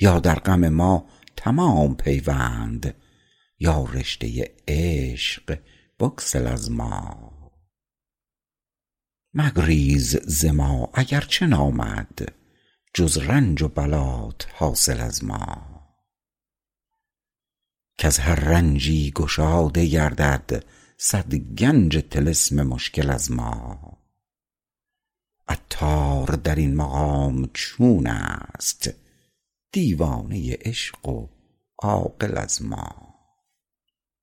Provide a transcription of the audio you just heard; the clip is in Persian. یا در غم ما تمام پیوند یا رشته عشق بگسل از ما مگریز ز ما اگرچه نامد جز رنج و بلات حاصل از ما کز هر رنجی گشاده گردد صد گنج طلسم مشکل از ما عطار در این مقام چون است دیوانه عشق و عاقل از ما